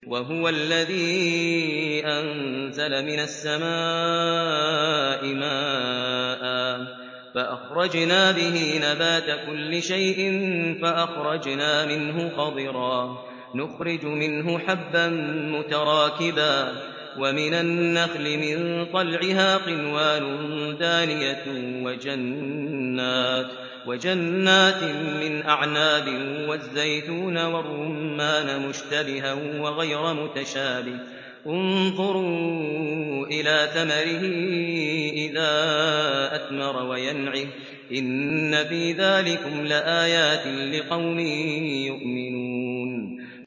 وَهُوَ الَّذِي أَنزَلَ مِنَ السَّمَاءِ مَاءً فَأَخْرَجْنَا بِهِ نَبَاتَ كُلِّ شَيْءٍ فَأَخْرَجْنَا مِنْهُ خَضِرًا نُّخْرِجُ مِنْهُ حَبًّا مُّتَرَاكِبًا وَمِنَ النَّخْلِ مِن طَلْعِهَا قِنْوَانٌ دَانِيَةٌ وَجَنَّاتٍ مِّنْ أَعْنَابٍ وَالزَّيْتُونَ وَالرُّمَّانَ مُشْتَبِهًا وَغَيْرَ مُتَشَابِهٍ ۗ انظُرُوا إِلَىٰ ثَمَرِهِ إِذَا أَثْمَرَ وَيَنْعِهِ ۚ إِنَّ فِي ذَٰلِكُمْ لَآيَاتٍ لِّقَوْمٍ يُؤْمِنُونَ